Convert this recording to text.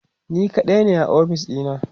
ni kaɗai ne a ofis ɗina